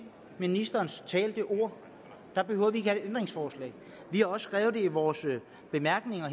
ministerens talte ord der behøver vi have et ændringsforslag vi har også skrevet det i vores bemærkninger